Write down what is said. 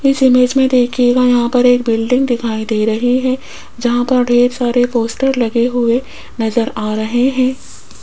इस इमेज में देखिएगा यहां पर एक बिल्डिंग दिखाई दे रही है जहां पर ढेर सारे पोस्टर लगे हुए नजर आ रहे हैं।